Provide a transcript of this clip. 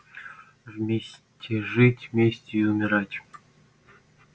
вместе жить вместе и умирать